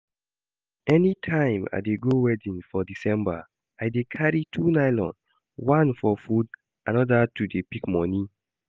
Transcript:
Anytime I dey go wedding for December, I dey carry two nylon, one for food another to dey pick money